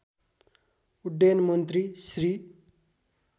उड्डयन मन्त्री श्री